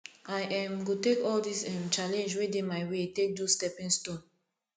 i um go take all dis um challenge wey dey my way take do stepping stone